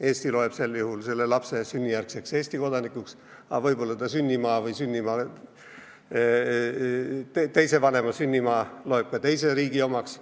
Eesti loeb sel juhul lapse sünnijärgseks Eesti kodanikuks, aga võib-olla teise vanema sünnimaa loeb ta oma kodanikuks.